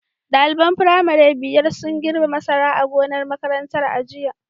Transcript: Daliban firamare biyar sun girbe masara a gonar makarantar a jiya.